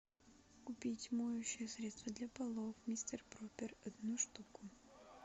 купить моющее средство для полов мистер пропер одну штуку